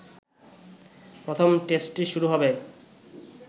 প্রথম টেস্টটি শুরু হবে